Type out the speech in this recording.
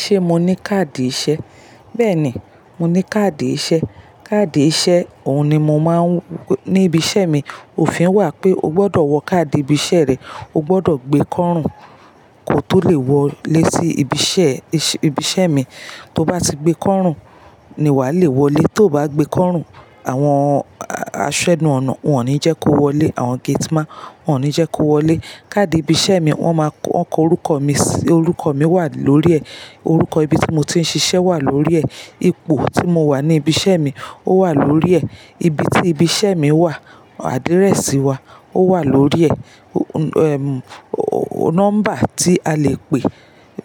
Ṣé mo ní káàdì iṣẹ́? Bẹ́ẹ̀ni, mo ní káàdì iṣẹ́. Káàdì iṣẹ́, òun ni mo máa ń ní ibi iṣẹ́ mi. Òfin wà pé o gbọdọ̀ wọ káàdì ibi iṣẹ́ rẹ, o gbọdọ̀ gbé kọ́rùn kò to lè wọlé sí ibi iṣẹ́, ibi iṣẹ́ mi. To bá ti gbé kọ́rùn ni wà á le wọlé, tó bá gbé kọ́rùn àwọn aṣẹnú-ọ̀nà wọ́n ò ní jẹ́ kó wọlé, àwọn gate man wọ́n ní jẹ́ kó wọlé. Káàdì ibi iṣẹ́ mi wọ́n máa ko, wọ́n ko orúkọ mi sí, orúkọ mi wà lórí ẹ̀, orúkọ ibi tí mo ti ń ṣiṣẹ́ wà lórí ẹ̀, ipò tí mo wà ní ibi iṣẹ́ mi ó wà lórí ẹ̀, ibi tí ibi iṣẹ́ mi wà, àdírẹ́sì wa ó wà lórí ẹ̀, nọ́mbà tí a lè pè,